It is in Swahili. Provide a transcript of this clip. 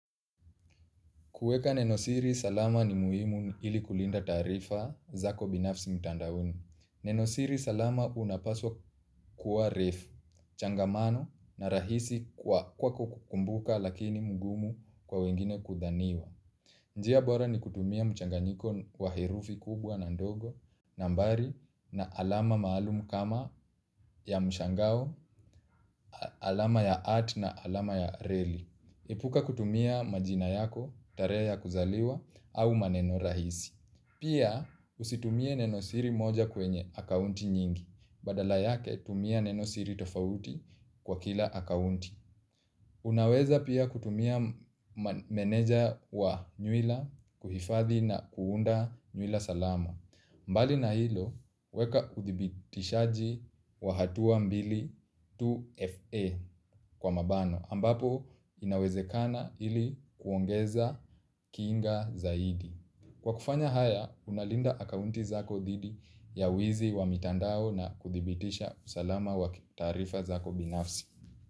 Kueka nenosiri salama ni muhimu ili kulinda taarifa zako binafsi mtandaoni. Nenosiri salama unapaswa kuwa refu, changamano na rahisi kwa kukumbuka lakini mgumu kwa wengine kudhaniwa. Njia bora ni kutumia mchanganyiko wa herufi kubwa na ndogo, nambari na alama maalumu kama ya mshangao, alama ya at na alama ya reli. Epuka kutumia majina yako, tarehe ya kuzaliwa, au maneno rahisi. Pia usitumie neno siri moja kwenye akaunti nyingi. Badala yake tumia neno siri tofauti kwa kila akaunti. Unaweza pia kutumia meneja wa nywila kuhifadhi na kuunda nywila salama. Mbali na hilo, weka kuthibitishaji wa hatua mbili 2FA kwa mabano ambapo inawezekana ili kuongeza kinga zaidi. Kwa kufanya haya, unalinda akaunti zako didi ya wizi wa mitandao na kuthibitisha salama wa taarifa zako binafsi.